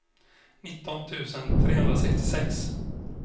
nitton tusen trehundrasextiosex